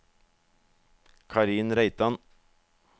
Karin Reitan